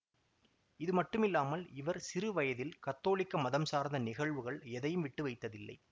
இதுமட்டுமில்லாமல் இவர் சிறுவயதில் கத்தோலிக்க மதம் சார்ந்த நிகழ்வுகள் எதையும் விட்டுவைத்ததில்லை